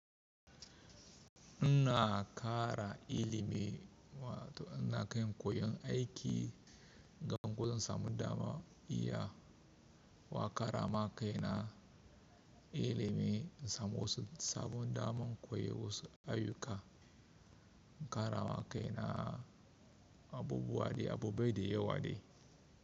Ina ƙara ilimi wa to ina kan koyon aiki gan ko zan samu dama iya wa ƙara ma kai na ilimi in samo su sabon daman koyon wasu ayyuka in ƙara ma kai na abubuwa de abu baide yawa dai.